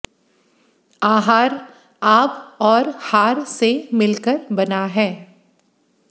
आहार आब और हार से मिल कर बना है